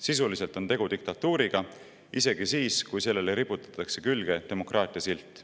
Sisuliselt on tegu diktatuuriga, isegi siis, kui sellele riputatakse külge demokraatia silt.